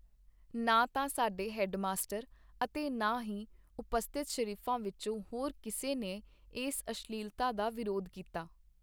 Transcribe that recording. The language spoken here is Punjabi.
ਨਾ ਤਾਂ ਸਾਡੇ ਹੈਡਮਾਸਟਰ, ਅਤੇ ਨਾ ਹੀ ਉਪਸਥਿਤ ਸ਼ਰੀਫਾਂ ਵਿਚੋਂ ਹੋਰ ਕਿਸੇ ਨੇ ਏਸ ਅਸ਼ਲੀਲਤਾ ਦਾ ਵਿਰੋਧ ਕੀਤਾ.